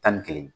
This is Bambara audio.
Tan ni kelen